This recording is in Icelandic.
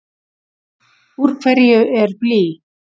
Úr hverju er blý?